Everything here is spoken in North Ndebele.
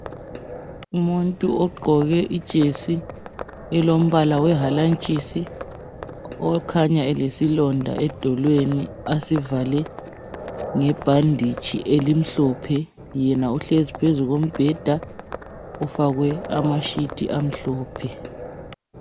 Umuntu ogqoke ijesi elombala owehanatshisi okhanya elesilonda edolweni asivale ngebhanditshi emhlophe yena uhlezi phezu kombheda ofakwe amasheet amhlophe